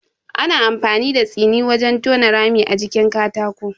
Ana amfani da tsiri wajen tona rami a jikin katako.